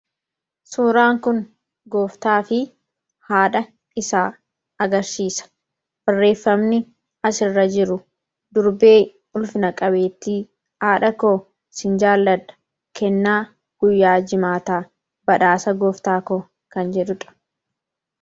suuraan kun gooftaa fi haadha isaa agarsiisa barreeffamni asirra jiru durbee ulfina-qabeettii aadha koo sin jaaladha kennaa guyyaa jimaataa badhaasa gooftaa koo kan jedhudha